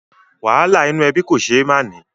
Wàhálà inú ẹbí kò ṣé é máà ní